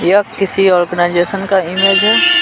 यह किसी ऑर्गेनाइजेशन का इमेज है।